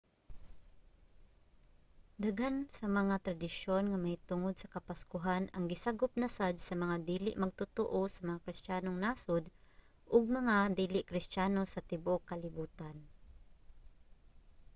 daghan sa mga tradisyon nga mahitungod sa kapaskuhan ang gisagop na sad sa mga dili magtotoo sa mga kristiyanong nasud ug mga dili kristiyano sa tibuok kalibutan